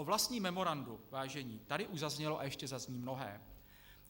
O vlastním memorandu, vážení, tady už zaznělo a ještě zazní mnohé.